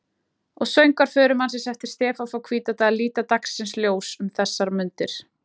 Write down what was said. Og Söngvar förumannsins eftir Stefán frá Hvítadal líta dagsins ljós um þessar mundir.